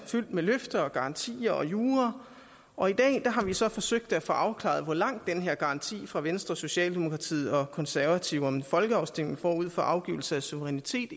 fyldt med løfter og garanti og jura og i dag har vi så forsøgt at få afklaret hvor langt den her garanti fra venstre socialdemokratiet og konservative om en folkeafstemning forud for afgivelse af suverænitet